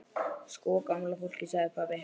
Sko gamla fólkið sagði pabbi.